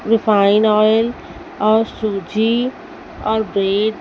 refine oil और सूजी और ब्रेड --